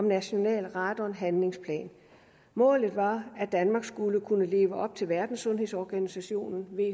national radonhandlingsplan målet var at danmark skulle kunne leve op til verdenssundhedsorganisationen